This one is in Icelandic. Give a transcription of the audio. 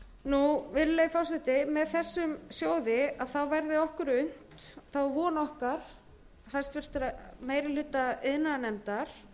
sjóðsins virðulegi forseti með þessum sjóði verði okkur unnt það er von okkar í meiri hluta háttvirtur iðnaðarnefndar